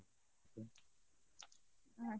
আচ্ছা ,